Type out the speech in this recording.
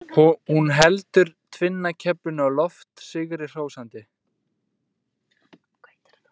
Hún heldur tvinnakeflinu á loft sigri hrósandi.